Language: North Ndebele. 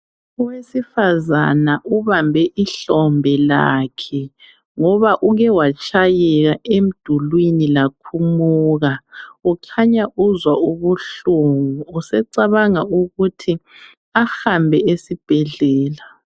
Owesifazana ubambe ihlombe lakhe ngoba uke watshayeka emdulwini lakhumuka ukhanya uzwa ubuhlungu usecabanga ukuthi ahambe esibhedlela